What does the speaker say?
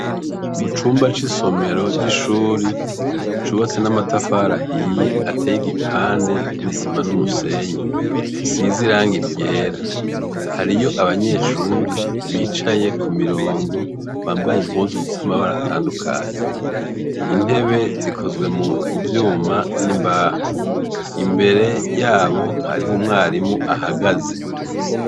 Mu cumba c'isomero c'ishuri cubatse n'amatafari ahiye ateye igipande n'isima n'umusenyi isize irangi ryera hariyo abanyeshuri bicaye ku mirongo bambaye impuzu zisa amabara atandukanye intebe zikozwe mu vyuma n'imbaho imbere yabo hariho umwarimu ahagaze.